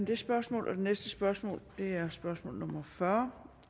det spørgsmål og det næste spørgsmål er spørgsmål nummer fyrre